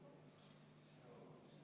Võtame vaheaja kümme minutit.